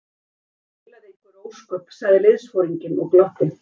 Hann baulaði einhver ósköp, sagði liðsforinginn og glotti.